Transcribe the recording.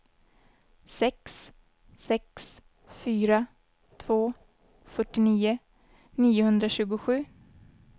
sex sex fyra två fyrtionio niohundratjugosju